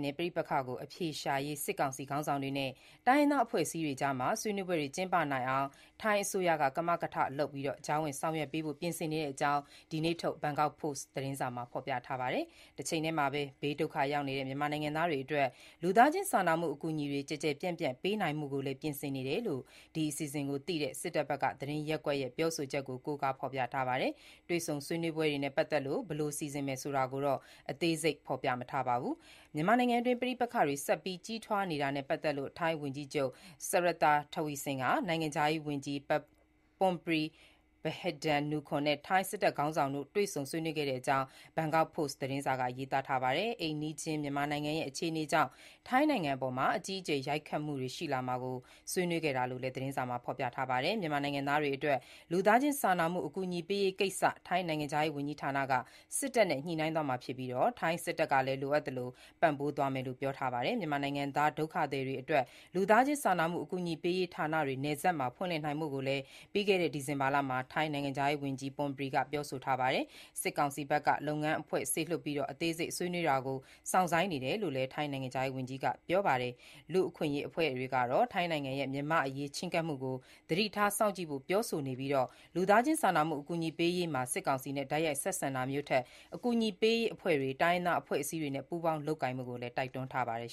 နဲ့ ပဋိပက္ခကို အဖြေရှာရေး စစ်ကောင်စီ ခေါင်းဆောင်တွေနဲ့ တိုင်းရင်းသားအဖွဲ့အစည်းတွေကြား ဆွေးနွေးပွဲတွေ ကျင်းပနိုင်အောင် ကမကထလုပ် ကြားဝင်ဆောင်ရွက်ပေးဖို့ ထိုင်းအစိုးရက ပြင်ဆင်နေတဲ့အကြောင်း ဒီနေ့ထုတ် Bangkok Post သတင်းစာမှာ ရေးပါတယ်။ တချိန်တည်းမှာ ဘေးဒုက္ခရောက်နေတဲ့ မြန်မာနိုင်ငံသားတွေအတွက် လူသားချင်း စာနာမှုအကူအညီ ကျယ်ကျယ်ပြန့်ပြန့်ပေးနိုင်ဖို့လည်း ပြင်ဆင်နေတယ်လို့ ဒီအစီအစဉ်ကိုသိတဲ့ စစ်တပ်သတင်းရပ်ကွက်ရဲ့ပြောဆိုချက်ကို ကိုးကား ဖေါ်ပြပါတယ်။ တွေ့ဆုံဆွေးနွေးပွဲတွေနဲ့ ပတ်သက်လို့ ဘယ်လို စီစဉ်မယ်ဆိုတာကိုတော့ သတင်းမှာ အသေးစိတ် ဖေါ်ပြမထားပါဘူး။ မြန်မာနိုင်ငံအတွင်းပဋိပက္ခတွေ ဆက်ပြီး ကြီးထွားလာနေတာနဲ့ ပတ်သက်လို့ ထိုင်းဝန်ကြီးချုပ် Srettha Thavisin ဟာ နိုင်ငံခြားရေးဝန်ကြီး Parnpree Bahiddha-nukara နဲ့ ထိုင်းစစ်တပ်ခေါင်းဆောင်တွေကို တွေ့ဆုံ ဆွေးနွေးတဲ့အကြောင်း ဘန်ကောက်ပို့စ် သတင်းစာက ရေးပါတယ်။ အိမ်နီးချင်း မြန်မာနိုင်ငံရဲ့အခြေအနေကြောင့် ထိုင်းနိုင်ငံအပေါ် အကြီးအကျယ် ရိုက်ခတ်လာမှာကို ဆွေးနွေးခဲ့တာလို့လည်း သတင်းမှာ ဖေါ်ပြပါတယ်။ မြန်မာနိုင်ငံသားတွေအတွက် လူသားချင်း စာနာမှုအကူအညီပေးရေးကိစ္စ ထိုင်းနိုင်ငံခြားရေးဝန်ကြီးဌာနက စစ်တပ်နဲ့ ညှိနှိုင်းသွားမှာဖြစ်ပြီး ထိုင်းစစ်တပ်ကလည်း လိုအပ်သလို ပံ့ပိုးသွားမယ်လို့ ထိုင်းစစ်တပ်ဘက်က ပြောပါတယ်။ မြန်မာနိုင်ငံသားဒုက္ခသည်တွေအတွက် လူသားချင်းစာနာမှုအကူအညီပေးရေးဌာနတွေ နယ်စပ်မှာဖွင့်ဖို့ ပြီးခဲ့တဲ့ဒီဇင်ဘာလမှာ ထိုင်းနိုင်ငံခြားရေးဝန်ကြီး Parnpree က ပြောဆိုထားပါတယ်။ စစ်ကောင်စီဘက်က လုပ်ငန်းအဖွဲ့စေလွှတ်ပြီး အသေးစိတ် ဆွေးနွေးတာကို စောင့်ဆိုင်းနေတယ်လို့လည်း ထိုင်းနိုင်ငံခြားရေးဝန်ကြီးက ပြောပါတယ်။ လူ့အခွင့်အရေး အဖွဲ့တွေကတော့ ထိုင်းနိုင်ငံရဲ့ မြန်မာ့အရေးချဉ်းကပ်မှုကို သတိထား စောင့်ကြည့်ဖို့ပြောဆိုနေပြီး လူသားချင်းစာနာမှုအကူအညီပေးရေးမှာ စစ်ကောင်စီနဲ့ တိုက်ရိုက် ဆက်ဆံတာမျိုးထက် အကူအညီပေးရေးအဖွဲ့တွေ၊ တိုင်းရင်းသားအဖွဲ့အစည်းတွေနဲ့ ပူးပေါင်းလုပ်ကိုင်ဖို့ တိုက်တွန်းနေပါတယ်